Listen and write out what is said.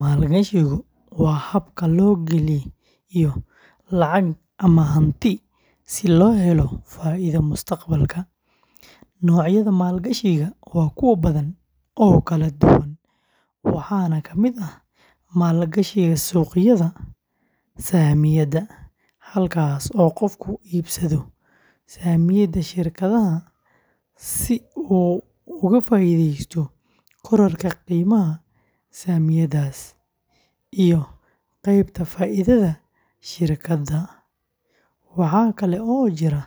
Maalgashigu waa habka loo geliyo lacag ama hanti si loo helo faa’iido mustaqbalka. Noocyada maalgashiga waa kuwo badan oo kala duwan, waxaana ka mid ah: maalgashiga suuqyada saamiyada, halkaas oo qofku iibsado saamiyada shirkadaha si uu uga faa’iideysto kororka qiimaha saamiyadaas iyo qaybta faa’iidada shirkadda. Waxaa kale oo jira